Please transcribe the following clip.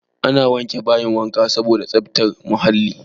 Ana wanke bayin wanka saboda tsaftar muhalli.